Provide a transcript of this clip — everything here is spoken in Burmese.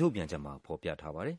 ထုတ်ပြန်ချက်မှာ ဖော်ပြထားပါတယ်